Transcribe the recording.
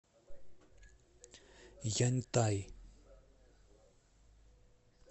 яньтай